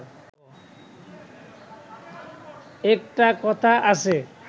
একটা কথা আছে